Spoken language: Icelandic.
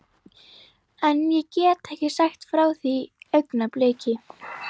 En ég get ekki sagt frá því augnabliki.